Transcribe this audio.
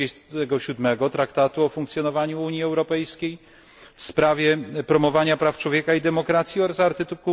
27 Traktatu o funkcjonowaniu Unii Europejskiej w sprawie promowania praw człowieka i demokracji oraz art.